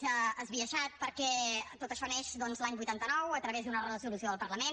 és esbiaixat perquè tot això neix doncs l’any vuitanta nou a través d’una resolució del parlament